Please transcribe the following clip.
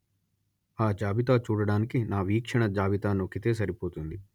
ఆ జాబితా చూడడానికి నా వీక్షణ జాబితా నొక్కితే సరిపోతుంది